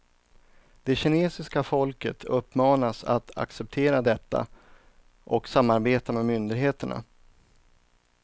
Det kinesiska folket uppmanas att acceptera detta och samarbeta med myndigheterna.